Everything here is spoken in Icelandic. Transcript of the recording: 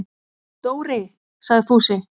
Dóri! sagði Fúsi.